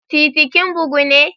TITI kin bugu ne?